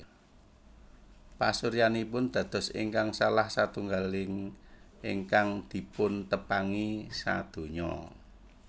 Pasuryanipun dados ingkang salah satunggaling ingkang dipuntepangi sadonya